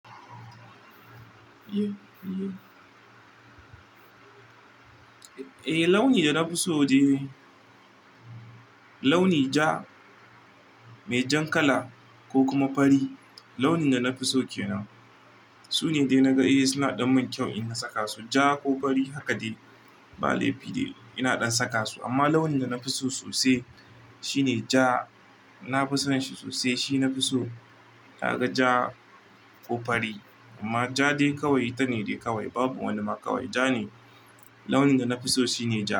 Eh, launi da na fi so de launi ja, me jan kala ko kuma fari. Launi da na fi so kenan. Su ne dai na ga eh suna ɗan mun kyau in na saka su. Ja ko fari haka dai ba laifi dai ina ɗan saka su. Amma launi da na fi so sosai shi ne ja. Na fi son shi sosai. Shi na fi so. Ka ga ja ko fari. Amma ja dai kawai ta ne dai kawai. Babu wani ma kawai. Ja ne. Launi da na fi so shi ne ja.